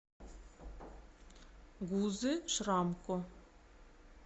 гузы шрамко